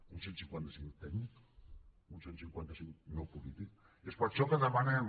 un cent i cinquanta cinc tècnic un cent i cinquanta cinc no polític és per això que demanem